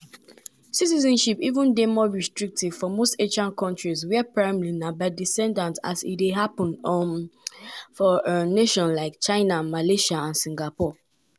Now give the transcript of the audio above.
now individuals also fit dey strategic about about citizenship.